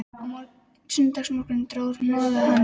Á sunnudagsmorgnum dró hnoðað hann til kirkju.